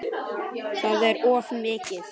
Það er of mikið.